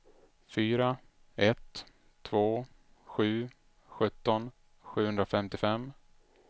fyra ett två sju sjutton sjuhundrafemtiofem